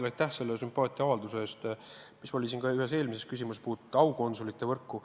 Ja aitäh ka selle sümpaatiaavalduse eest, mis kõlas siin ühes eelmises küsimuses, mis puudutas aukonsulite võrku.